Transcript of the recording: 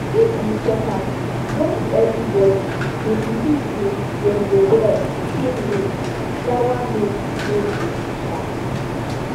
if we check am no be every body dey believe say dem go well the same way yawah no no dey sha